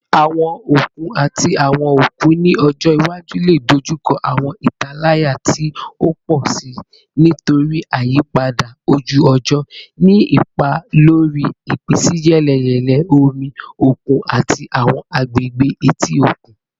Awọn okun ati awọn okun ni ọjọ iwaju le dojuko awọn italaya ti o pọ si nitori iyipada oju-ọjọ, ni ipa lori ipinsiyeleyele omi okun ati awọn agbegbe eti okun.